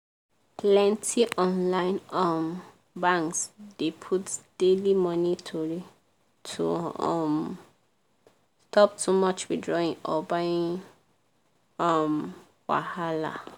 plenty online um banks dey put daily money tori to um stop too much withdrawing or buying um wahala.